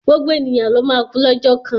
Gbogbo ènìyàn ló máa kú lọ́jọ́ kan.